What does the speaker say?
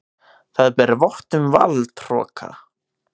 Það ber vott um valdhroka.